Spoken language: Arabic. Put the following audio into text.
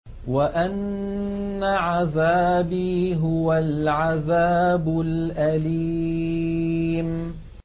وَأَنَّ عَذَابِي هُوَ الْعَذَابُ الْأَلِيمُ